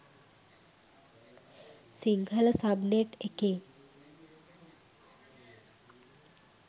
Sinhala subnet එකේ